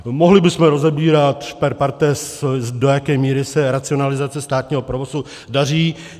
Mohli bychom rozebírat per partes, do jaké míry se racionalizace státního provozu daří.